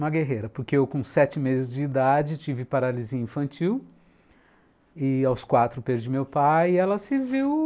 Uma guerreira, porque eu com sete meses de idade tive paralisia infantil e aos quatro perdi meu pai e ela se viu...